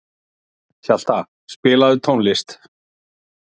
Hjalta, spilaðu tónlist.